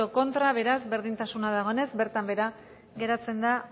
contra beraz berdintasuna dagoenez bertan behera geratzen da